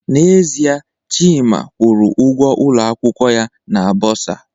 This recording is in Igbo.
N'ezie, Chima kwụrụ ụgwọ ụlọ akwụkwọ ya na bursar